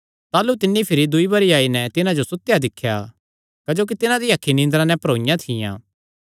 ताह़लू तिन्नी भिरी दूई बरी आई नैं तिन्हां जो सुतेया दिख्या क्जोकि तिन्हां दियां अखीं निंदरा नैं भरोईयां थियां